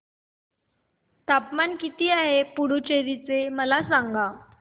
तापमान किती आहे पुडुचेरी चे मला सांगा